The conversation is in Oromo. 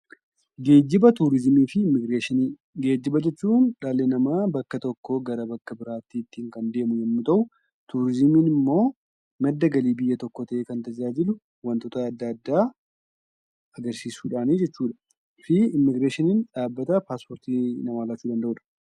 Geejiba jechuun dhalli namaa bakka tokkoo gara bakka biraatti ittiin kan deemuu yoo ta'u, turizimiin immoo madda galii ta'ee kan tajaajiludha. 'Immigireeshinii'n immoo dhaabbata paaspoortii namaa laatuudha.